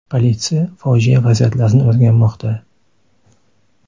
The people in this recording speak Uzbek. Politsiya fojia vaziyatlarini o‘rganmoqda.